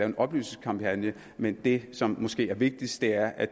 en oplysningskampagne men det som måske er vigtigst er at